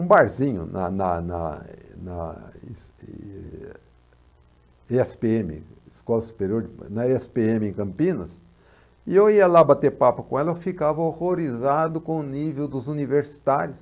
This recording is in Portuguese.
um barzinho na na na na e na e e is é esse pê eme escola superior, é esse pê eme em Campinas, e eu ia lá bater papo com ela, eu ficava horrorizado com o nível dos universitários.